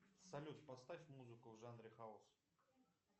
салют поставь музыку в жанре хаус